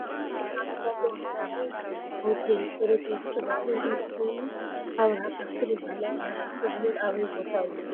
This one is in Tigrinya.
ብዙሕ ዓመታት ዘቅፀረ ቀ ሆቴል ብፅሬቱን ብህንፅኡን ፍልይ ዝበለ ኮይኑኣብርሃ ካስትል ይበሃል ። ኣብርሃ ካስትል ሆቴል ኣበይ ቦታ እዩ ?